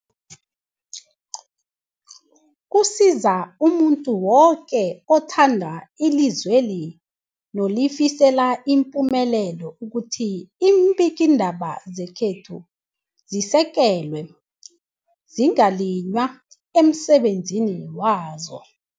Kusiza umuntu woke othanda ilizweli nolifisela ipumelelo ukuthi iimbikiindaba zekhethu zisekelwe, zingaliywa emsebenzini wazo.